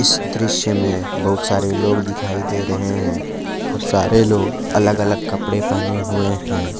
इस दृश्य में बहुत सारे लोग दिखाई दे रहे हैं और सारे लोग अलग अलग कपड़े पहने हुए हैं।